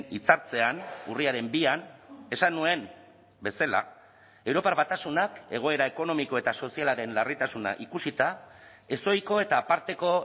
hitzartzean urriaren bian esan nuen bezala europar batasunak egoera ekonomiko eta sozialaren larritasuna ikusita ezohiko eta aparteko